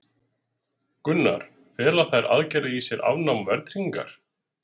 Gunnar: Fela þær aðgerðir í sér afnám verðtryggingar?